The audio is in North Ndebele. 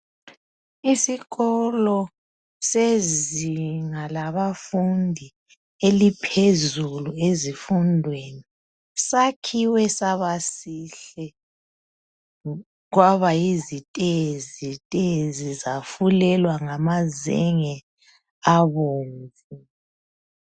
Isikolo sezinga labafundi eliphezulu ezifundweni. Sakhiwe sabasihle kwabayizitezi zafulelwa ngamazenge abomvu.